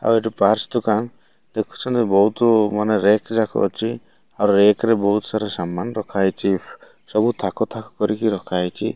ଆଉ ଏଠି ପର୍ଟସ୍ ଦୋକାନ ଦେଖୁଚନ୍ତି ବୋହୁତୁ ମାନେ ରେକ ରୀୟାକ୍ ଅଛି ଆଉ ରେକ ରେ ବୋହୁତ ସାରା ସାମନ୍ ରଖାହେଇଛି ସବୁ ଥାକ ଥାକ କରୀକି ରଖା ହେଇଚି।